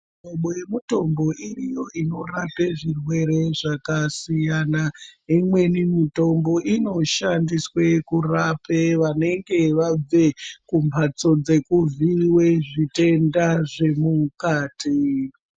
Muhlobo yemitombo iriyo inorape zvirwere zvakasiyana. Imweni mitombo inoshandiswe kurape vanenge vabve mumphatso dzekuvhiiwe zvitenda zvemukati.